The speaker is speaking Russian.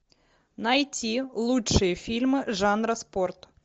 найти лучшие фильмы жанра спорт